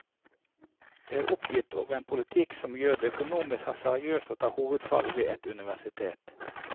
De er oppgitt over en politikk som gjør det økonomisk hasardiøst å ta hovedfag ved et universitet.